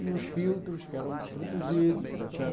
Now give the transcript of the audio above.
E os filtros que eram produzidos, está certo?